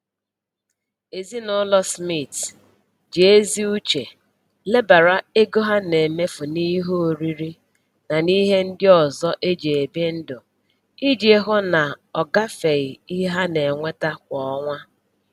Ezinụlọ Smith ji ezi uche lebara ego ha na-emefu n'ihe oriri na ihe ndị ọzọ e ji ebi ndụ iji hụ na ọ gafeghị ihe ha na-enweta kwa ọnwa